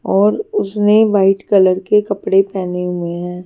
और उसने white colour के कपड़े पहने हुए है।